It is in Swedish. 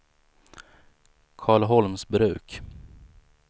Karlholmsbruk